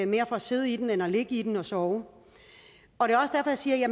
mere for at sidde i den end at ligge i den og sove